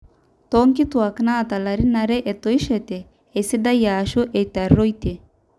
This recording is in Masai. toonkituaak naata ilarin aare etoishote esidai aashu etarrueitie